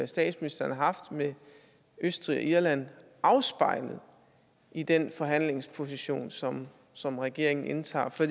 statsministeren har haft med østrig og irland afspejlet i den forhandlingsposition som som regeringen indtager for